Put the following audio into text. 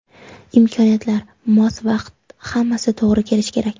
Imkoniyatlar, mos vaqt hammasi to‘g‘ri kelishi kerak.